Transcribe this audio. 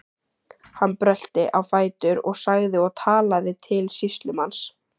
Hann brölti á fætur og sagði og talaði til sýslumanns